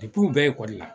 u bɛɛ ekɔli la